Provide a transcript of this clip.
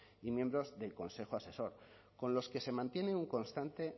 y miembros del consejo asesor con los que se mantiene un constante